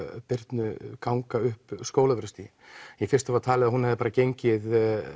Birnu ganga upp Skólavörðustíginn í fyrstu var talið að hún hafi bara gengið